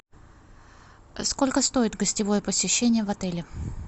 сколько стоит гостевое посещение в отеле